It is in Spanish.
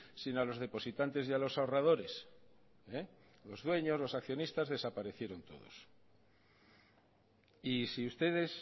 sino a los depositantes y a los ahorradores los dueños los accionistas desaparecieron todos y si ustedes